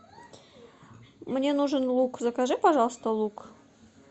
мне нужен лук закажи пожалуйста лук